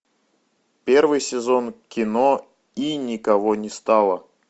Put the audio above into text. первый сезон кино и никого не стало